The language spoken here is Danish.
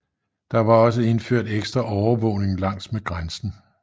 Der var også indført ekstra overvågning langsmed grænsen